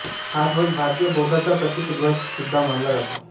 हा ध्वज भारतीय बौद्धांचा प्रतिकध्वज सुद्धा मानला जातो